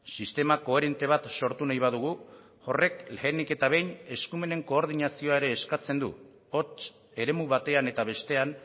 sistema koherente bat sortu nahi badugu horrek lehenik eta behin eskumenen koordinazioa ere eskatzen du hotz eremu batean eta bestean